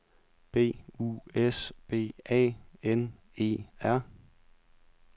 B U S B A N E R